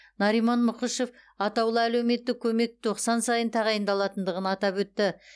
нариман мұқышев атаулы әлеуметтік көмек тоқсан сайын тағайындалатындығын атап өтті